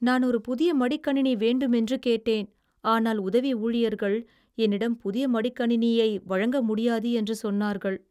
நான் ஒரு புதிய மடிக்கணினி வேண்டுமென்று கேட்டேன், ஆனால் உதவி ஊழியர்கள் என்னிடம் புதிய மடிக்கணினியை வழங்க முடியாது என்று சொன்னார்கள்.